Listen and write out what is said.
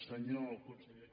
senyor conseller